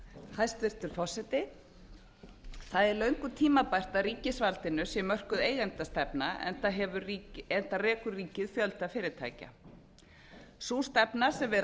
hæstvirtur forseti það er löngu tímabært að ríkisvaldinu sé mörkuð eigendastefna enda rekur ríkið fjölda fyrirtækja sú stefna sem við